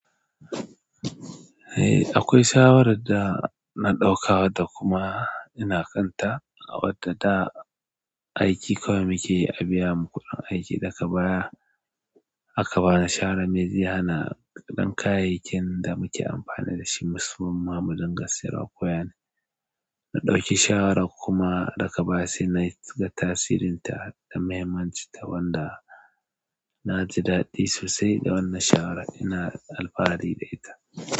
Eh akwai shawarar da na ɗauka da kuma ina kanta a wadda aiki kawai muke abiya mu daga baya aka bani shara meziya, hana ɗan kayayyakin da muke amfani da shi, masu bin ma'amudin gassiro kuwa ne. Na ɗauki shawara kuma daga baya sai na ji ga tasirin ta da mahimmanci ta wanda na ji daɗi sosai da wannan shawara ina alfahari da ita.